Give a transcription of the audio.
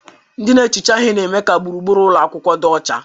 Ndị na-ehicha ihe na-eme ka gburugburu ụlọ akwụkwọ dị ọcha.